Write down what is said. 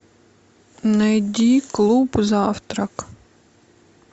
найди клуб завтрак